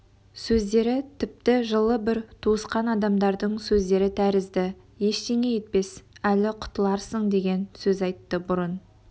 сөздері тіпті жылы бір туысқан адамдардың сөздері тәрізді ештеңе етпес әлі құтыларсың деген сөз айтты бұрын